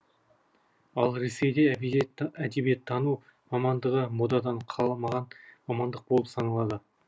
ал ресейде әдебиеттану мамандығы модадан қалмаған мамандық болып саналады